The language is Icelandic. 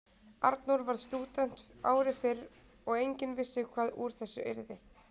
Arnór varð stúdent ári fyrr og enginn vissi hvað úr þessu yrði.